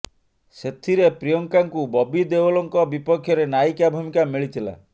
ସେଥିରେ ପ୍ରିୟଙ୍କାଙ୍କୁ ବବି ଦେଓଲଙ୍କ ବିପକ୍ଷରେ ନାୟିକା ଭୂମିକା ମିଳିଥିଲା